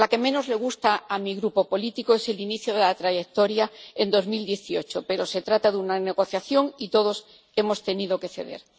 Lo que menos le gusta a mi grupo político es el inicio de la trayectoria en 2018, pero se trata de una negociación y todos hemos tenido que ceder.